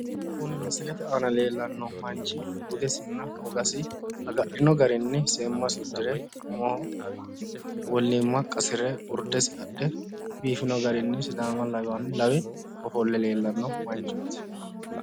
Kuni misilete aana leellanno manchi budesinna wogasi agadhino garinni seemmasi uddire umoho wollimma qasire urdesi adhe biifino garinni sidaama lawe ofolle leellanno manchooti